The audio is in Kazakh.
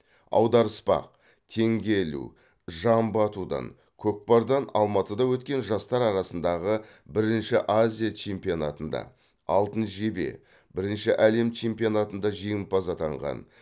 аударыспақ теңге ілу жамбы атудан көкпардан алматыда өткен жастар арасындағы бірінші азия чемпионатында алтын жебе бірінші әлем чемпионатында жеңімпаз атанған